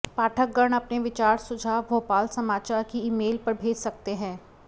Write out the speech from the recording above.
पाठकगण अपने विचार सुझाव भोपाल समाचार की ईमेंल पर भेज सकते है